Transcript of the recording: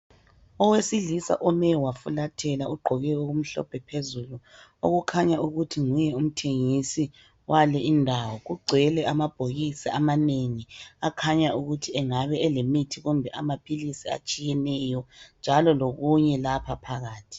Owesilisa ome wafulathela, ogqoke okumhlophe phezulu, okukhanya ukuthi nguye umthengisi wale indawo, kugcwele amabhokisi amanengi akhanya ukuthi angabe elemithi kumbe amaphilisi atshiyeneyo, njalo lokunye lapha phakathi.